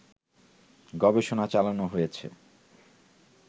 গবেষণা চালানো হয়েছে